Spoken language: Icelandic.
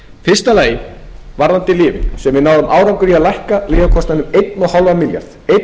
í fyrsta lagi varðandi lyfin sem við náðum árangri í að lækka lyfjakostnaðinn um einn komma